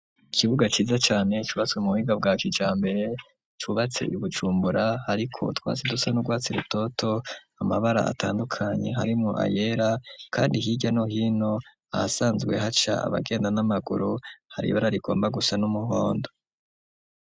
Ikibuga ciza cane cubatse mu buhinga bwa kijambere vyubatse ibujumbura ariko utwatsi dusa n'ugwatsira rutoto amabara atandukanye harimwo ayera kandi hirya no hino ahasanzwe haca abagenda n'amaguru hari ibarabara rigomba gusa n'umuhondo.